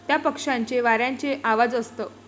त्या पक्षांचे वाऱ्यांचे आवाजअसत